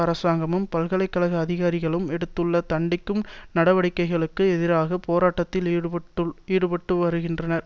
அரசாங்கமும் பல்கலை கழக அதிகாரிகளும் எடுத்துள்ள தண்டிக்கும் நடவடிக்கைகளுக்கு எதிராக போராட்டத்தில் ஈடுபட்டு வருகின்றனர்